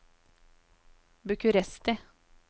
Bucuresti